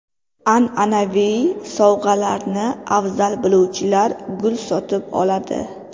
An’anaviy sovg‘alarni afzal biluvchilar gul sotib oladi.